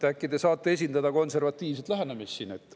Äkki te saate esindada konservatiivset lähenemist siin?